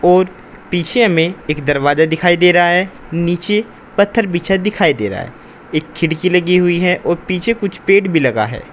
और पीछे में एक दरवाजा दिखाई दे रहा है नीचे पत्थर बिछा दिखाई दे रहा है एक खिड़की लगी हुई है और पीछे कुछ पेड़ भी लगा है।